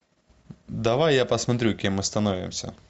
давай я посмотрю кем мы становимся